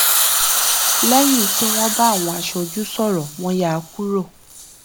léyìn tí wọn bá àwọn aṣojú sọrọ wọn yá kúrò